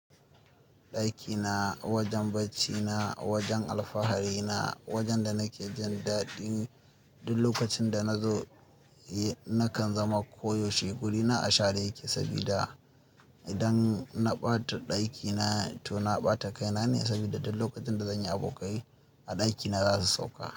Ɗakina, wajen barcina, wajen alfahari na, wajenda nake jin daɗin duk lokacin da na zo, nakan zama koyaushe guri na ashare yake sabida idan na ɓata ɗakina to na ɓata kaina ne sabida duk lokacin da zan yi abokai a ɗakina za su sauka.